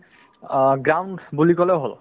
অ, বুলি ক'লেও হ'ল